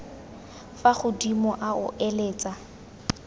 fa godimo a o eletsa